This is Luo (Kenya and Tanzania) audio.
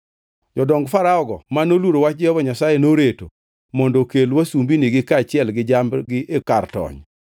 Jodong Farao-go ma noluoro wach Jehova Nyasaye noreto mondo okel wasumbinigi kaachiel gi jambgi e kar tony.